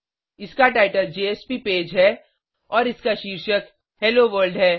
इसका title JSP page है और इसका शीर्षक हेलो वर्ल्ड है